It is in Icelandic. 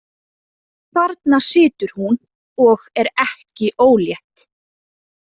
Þarna situr hún og er ekki ólétt.